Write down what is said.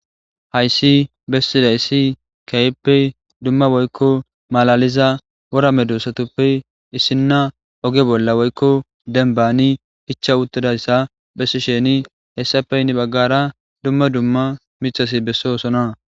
Hayssi bessidayssi kayeppe dumma woykko malaliza worame dusatoppe issinna oge bolla woykko denbaani icha uttidayssa bessi sheni hessappe ynni baggara dumma dumma micasi bessoosona.